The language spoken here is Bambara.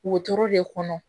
Wotoro de kɔnɔ